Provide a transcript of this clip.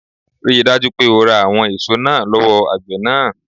Ríi dájú pé o ra àwọn èso náà lówó àgbè náà